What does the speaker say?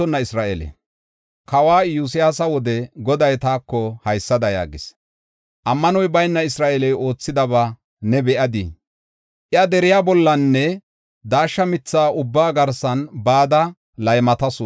Kawa Iyosyaasa wode Goday taako haysada yaagis: “Ammanoy bayna Isra7eeley oothidaba ne be7adii? Iya dere bollanne daashsha mitha ubbaa garsi bada yan laymatasu.